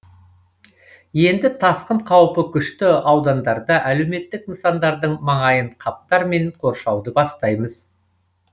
енді тасқын қаупі күшті аудандарда әлеуметтік нысандардың маңайын қаптармен қоршауды бастаймыз